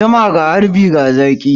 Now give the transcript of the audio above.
Zuma ga harbi ga zaki.